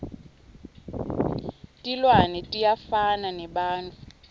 tilwane tiyafana nebantfu